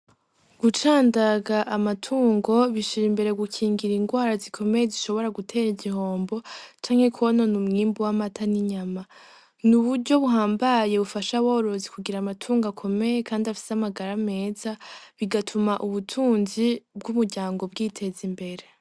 Gucandaga amatungo bishirimbere gukingira ingwara zikomeye zishobora gutera igihombo, canke kwonona umwimbu w'amata n'inyama, n'uburyo buhambaye bufasha aborozi kugira amatungo akomeye kandi afise amagara meza bigatuma ubutunzi bw'umuryango bwiteza imbere.